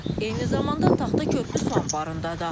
Eyni zamanda Taxta körpü su anbarında da.